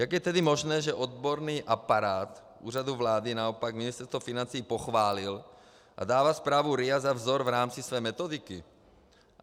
Jak je tedy možné, že odborný aparát Úřadu vlády naopak Ministerstvo financí pochválil a dává zprávu RIA za vzor v rámci své metodiky?